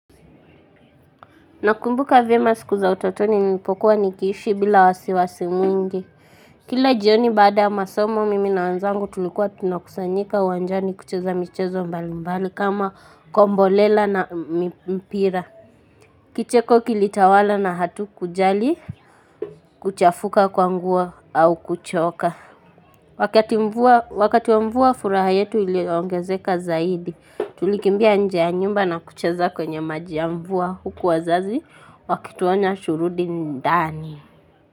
Nakumbuka vyema siku za utotoni nilipokua nikiishi bila wasiwasi mwingi. Kila jioni baada ya masomo mimi na wenzangu tulikuwa tunakusanyika uwanjani kucheza michezo mbali mbali kama kombolela na mpira. Kicheko kilitawala na hatukujali kuchafuka kwa nguo au kuchoka. Wakati wa mvua furaha yetu iliongezeka zaidi, tulikimbia nje ya nyumba na kucheza kwenye maji ya mvua huku wazazi wakituonya turudi ndani.